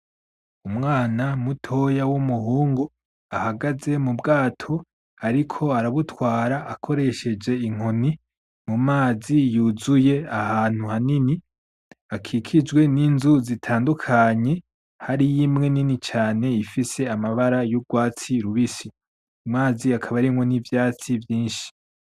Umwana mutoya wumuhungu ahagaze mubwato ariko arabutwara akoresheje inkoni mumazi yuzuye ahantu hanini hakikijwe ninzu zitandukanye, hariyo imwe nini cane ifise amabara yurwatsi rubisi, ayo mazi akaba arimwo nivyatsi vyinshi.